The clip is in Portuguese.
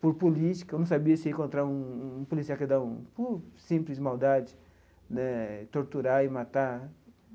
Por política, eu não sabia se ia encontrar um um policial que ia dar um por simples maldade né e, torturar e matar.